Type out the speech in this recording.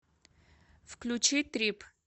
включи трип